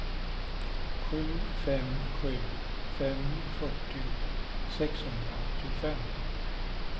sju fem sju fem fyrtio sexhundraåttiofem